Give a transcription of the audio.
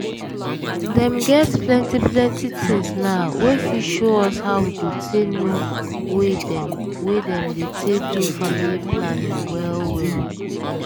dem get plenty plenty things na wey fit show us how we go take know way dem wey dem dey take do family planning well well.